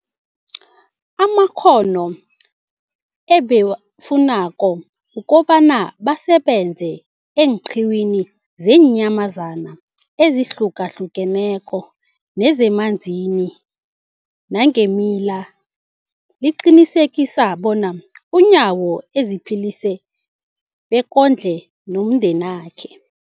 amakghono ebawafunako ukobana basebenze eenqiwini zeenyamazana ezihlukahlukeneko nezemanzini nangeemila, liqinisekisa bona uNyawo aziphilise bekondle nomndenakhe.